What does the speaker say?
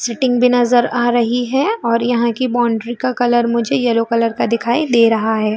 Sitting भी नजर आ रही है और यहाँ का बाउंड्री का कलर मुझे येलो कलर का दे रहा हैं।